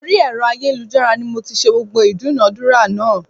Orí ẹ̀rọ ayélujára ni mo ti ṣẹ́ gbogbo ìdúnadúrà náà